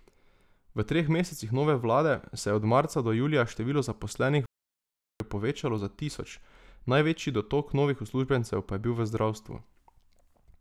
V treh mesecih nove vlade se je od marca do julija število zaposlenih v javnem sektorju povečalo za tisoč, največji dotok novih uslužbencev pa je bil v zdravstvu.